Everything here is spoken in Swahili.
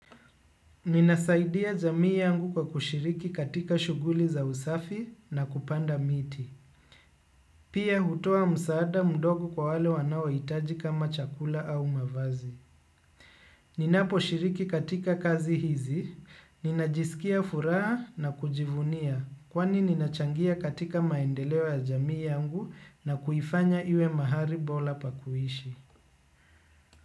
Ninasaidia jamii yangu kwa kushiriki katika shughuli za usafi na kupanda miti. Pia hutoa msaada mdogo kwa wale wanawahitaji kama chakula au mavazi. Ninaposhiriki katika kazi hizi, ninajiskia furaha na kujivunia. Kwani ninachangia katika maendeleo ya jamii yangu na kuifanya iwe mahali bora pa kuishi.